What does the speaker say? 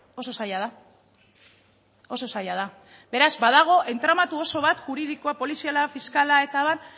oso zaila da oso zaila da beraz badago entramatu oso bat juridikoa poliziala fiskala eta abar